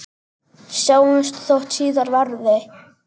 Sjáumst þótt síðar verði.